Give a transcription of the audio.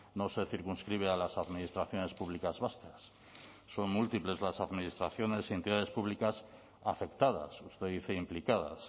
no se circunscribe a las administraciones públicas vascas son múltiples las administraciones y entidades públicas afectadas usted dice implicadas